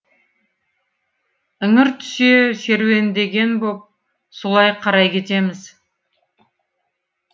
іңір түсе серуендеген боп солай қарай кетеміз